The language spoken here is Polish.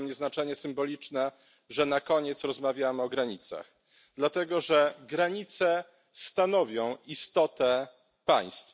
I ma dla mnie znaczenie symboliczne, że na koniec rozmawiamy o granicach, dlatego że granice stanowią istotę państw.